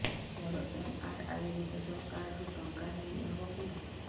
ମୋର ଏମ.ଆର.ଆଇ ରେ କୃଷକ କାର୍ଡ ରୁ ଟଙ୍କା ଦେଇ ହବ କି